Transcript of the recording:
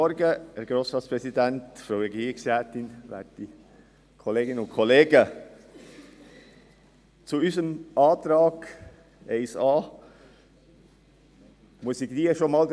Vorneweg: Mit dem Antrag 1a muss ich alle enttäuschen, die sich gestern bereits geäussert haben.